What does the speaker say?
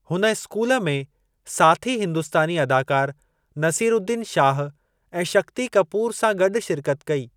हुन स्कूल में साथी हिंदुस्तानी अदाकार नसीरउद्दीन शाह ऐं शक्ती कपूर सां गॾु शिरकत कई।